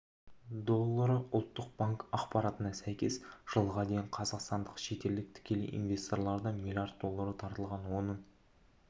доллары ұлттық банк ақпаратына сәйкес жылға дейін қазақстанға шетелдік тікелей инвесторлардан млрд доллары тартылған оның